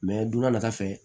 donna nata fɛ